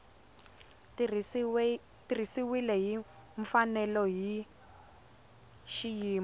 tirhisiwile hi mfanelo hi xiyimo